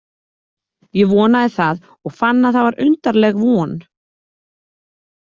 Ég vonaði það og fann að það var undarleg von.